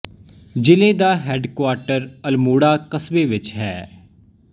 ਜ਼ਿਲ੍ਹੇ ਦਾ headquarter Almora ਕਸਬੇ ਵਿੱਚ ਹੈ